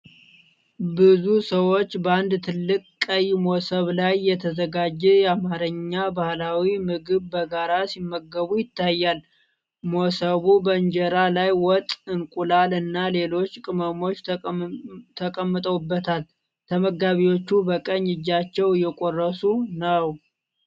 ብዙ ሰዎች በአንድ ትልቅ ቀይ መሶብ ላይ የተዘጋጀ የአማርኛ ባህላዊ ምግብ በጋራ ሲመገቡ ይታያል። መሶቡ በእንጀራ ላይ ወጥ፣ እንቁላል እና ሌሎች ቅመሞች ተቀምጠውበታል። ተመጋቢዎቹ በቀኝ እጃቸው እየቆረሱ ነው።